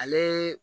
Ale